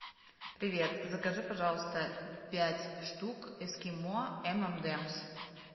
привет закажи пожалуйста пять штук эскимо эм энд эмс